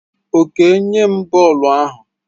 Okey nye m bọọlụ ahụ!